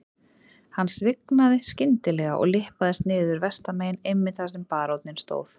Hann svignaði skyndilega og lyppaðist niður vestanmegin einmitt þar sem baróninn stóð.